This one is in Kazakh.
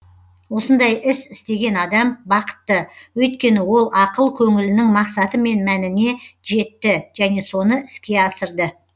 осындай іс істеген адам бақытты өйткені ол ақыл көңілінің мақсаты мен мәніне жетті және соны іске асырды